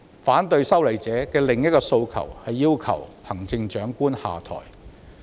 反對修例者的另一個訴求是要求現任行政長官下台。